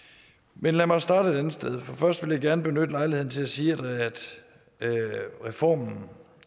men lad mig starte et andet sted for først vil jeg gerne benytte lejligheden til at sige at reformen